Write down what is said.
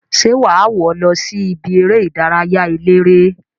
Se waa wo losi ibi ere idaraya elere?